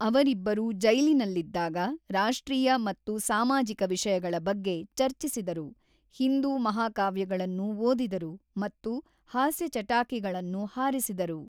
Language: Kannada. ಅವರಿಬ್ಬರೂ ಜೈಲಿನಲ್ಲಿದ್ದಾಗ ರಾಷ್ಟ್ರೀಯ ಮತ್ತು ಸಾಮಾಜಿಕ ವಿಷಯಗಳ ಬಗ್ಗೆ ಚರ್ಚಿಸಿದರು, ಹಿಂದೂ ಮಹಾಕಾವ್ಯಗಳನ್ನು ಓದಿದರು ಮತ್ತು ಹಾಸ್ಯ ಚಟಾಕಿಗಳನ್ನು ಹಾರಿಸಿದರು.